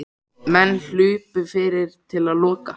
Menn hlupu fyrir til að loka.